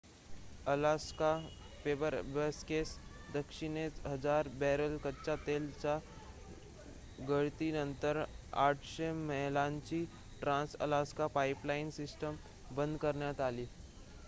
Alaska फेअरबॅक्सच्या दक्षिणेस हजार बॅरल कच्च्या तेलाच्या गळतीनंतर ८०० मैलांची ट्रान्स-अलास्का पाइपलाइन सिस्टम बंद करण्यात आली